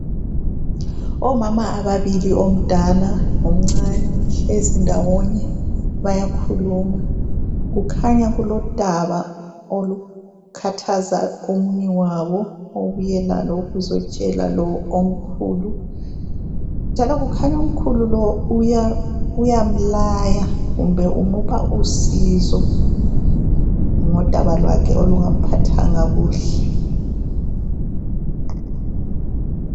Omama ababili, omdala lomncane bahlezi ndawonye, bayakhuluma. Kukhanya kulodaba olukhathaza omunye wabo obuye lalo ukuzotshela lo omkhulu. Njalo, kukhanya omkhulu lowu uyamlaya kumbe umupha usizo ngodaba lwakhe olungamphathanga kuhle.